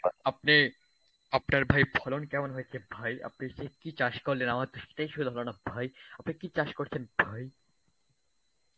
আপনে, আপনার ভাই ফলন কেমন হয়েছে ভাই? আপনি যে কী চাষ করলেন আমার তো সেটাই শোনা হলো না ভাই? আপনি কী চাষ করছেন ভাই?